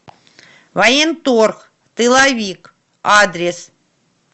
военторг тыловик адрес